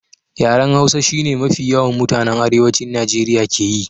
Yaran Hausa shi ne mafi yawan mutanan Arewacin Najeriya ke yi.